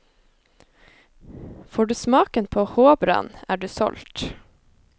Får du smaken på håbrand, er du solgt.